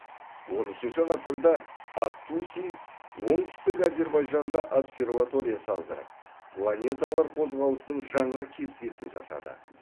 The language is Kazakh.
он үшінші ғасырда ат туси оңтүстік әзербайжанда обсерватория салдырып планеталар қозғалысының жаңа кестесін жасады